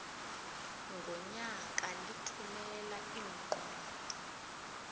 ngonyaka lithumela iincwadi